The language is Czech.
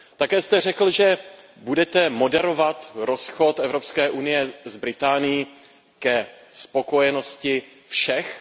Také jste řekl, že budete moderovat rozchod Evropské unie s Británií ke spokojenosti všech.